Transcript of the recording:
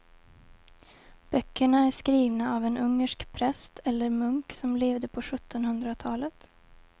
Böckerna är skrivna av en ungersk präst eller munk som levde på sjuttonhundratalet.